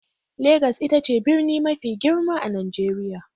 Legas ita ce birni mafi girma a Najeriya.